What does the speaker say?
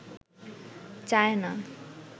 China